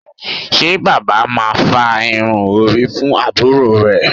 Ṣé bàbá máa fá irun orí fún àbúrò rẹ̀